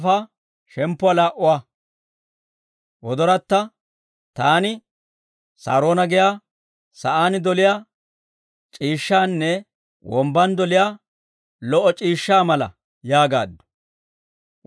Taani, «Saaroona giyaa sa'aan doliyaa c'iishshaanne, wombban doliyaa lo"o c'iishshaa mala» yaagaaddu.